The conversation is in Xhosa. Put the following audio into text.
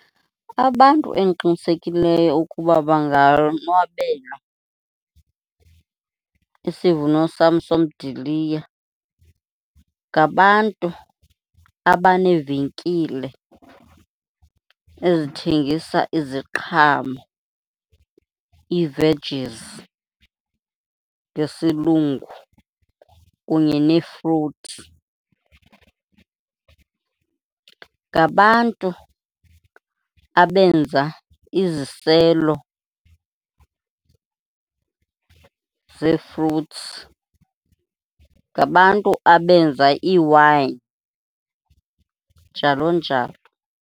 Abantu endiqinisekileyo ukuba bangayonwabela isivuno sam somdiliya, ngabantu abaneevenkile ezithengisa iziqhamo, ii-vegies ngesilungu, kunye neefruthi. Ngabantu abenza iziselo zee-fruits, ngabantu abenza iiwayini njalo njalo.